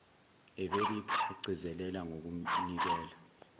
evedic agcizelela ngokunikela